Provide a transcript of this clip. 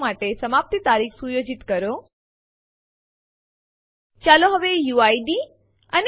જો file overwrite કરતા પેહલા આપણે ચેતવણી ઈચ્છીએ છીએ